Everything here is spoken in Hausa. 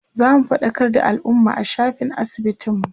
zamu faɗakar da alumma a shafin asibitin mu